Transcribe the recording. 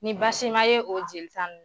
Ni baasi ma ye o jelita n